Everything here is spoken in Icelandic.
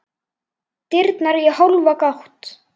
Dyrnar í hálfa gátt.